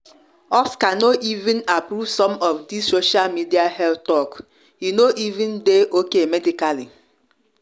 oscar no even approve some of this social media health talk e no even dey okay medically